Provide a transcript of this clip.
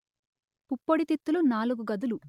పుప్పొడి తిత్తులు నాలుగు గదులు